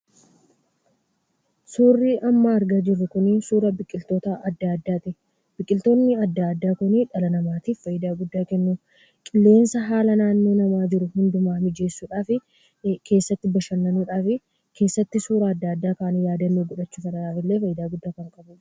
Suurri amma argaa jirru Kunii, suura biqiltoota addaa addaati. Biqiltoonni addaa addaa Kuni dhala namaatiif fayidaa guddaa kennuu, qilleensa haala naannoo namaa jiru hunda mijeessudhaaf, keessattuu bashananuudhaan keessatti suura addaa addaa kaane yaadannoo godhachuudhaan fayidaa guddaa kan qabudha.